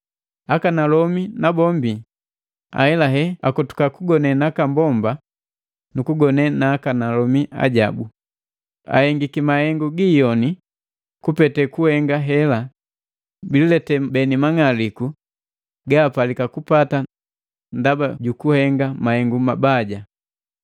Akanalomi nabombi ahelahe akotoka kugone nakambomba nukugone na akanalomi ajaki. Ahenga mahengu giiyoni, kupete kuhenga hela bililete beni mang'aliku ga apalika kupata ndaba jukuhenga mahengu mabaja.